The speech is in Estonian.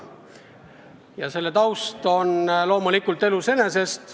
Muudatuse ajend tuleneb loomulikult elust enesest.